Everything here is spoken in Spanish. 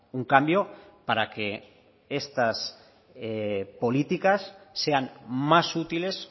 un cambio para que estas políticas sean más útiles